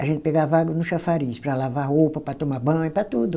A gente pegava água no chafariz para lavar roupa, para tomar banho, para tudo.